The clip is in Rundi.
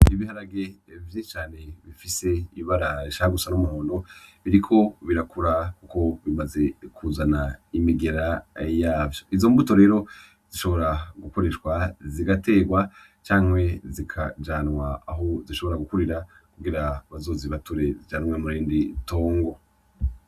Ibiharage vyinshi cane bifise ibara rishaka gusa ry'umuhondo biriko birakura kuko bimaze kuzana imigera yavyo, izo mbuto rero zishobora gukoreshwa zigaterwa canke zikajanwa aho zishobora gukurira kugira bazozibature zijanwe murindi tongo.